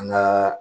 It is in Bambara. An gaa